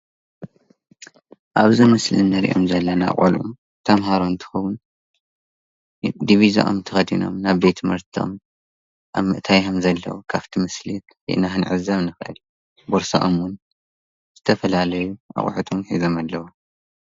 ኣብዚ ምስሊ እንርእዮም ዘለና ቆልዑ ተምሃሮ እንትኮኑ ዲቪዝኦም ተከዲኖም ናብ ቤትምህርቶም ኣብ ምእታዉ ዘለዎ ካበቲ ምስሊ ኢና ክንዕዘብ ንክእል ቦርሶኦም 'ውን ዝተፋላለዩ እቁሑቶም ሖዞም አለዉ፡፡